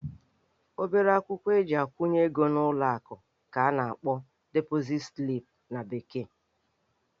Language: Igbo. Obere akwụkwọ eji akwụnye ego n'ụlọ akụ ka a na-akpọ deposit slip na bekee